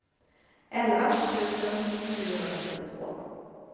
elva tusen niohundrasjuttiotvå